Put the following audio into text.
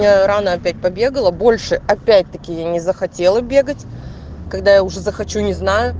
я рано опять побегала больше опять таки я не захотела бегать когда я уже захочу я не знаю